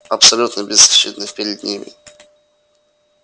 абсолютно беззащитных перед ним